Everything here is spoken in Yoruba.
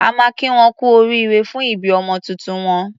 A máa kí wọn kú oríire fún ìbí ọmọ tuntun wọn.